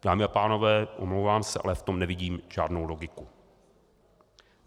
Dámy a pánové, omlouvám se, ale v tom nevidím žádnou logiku.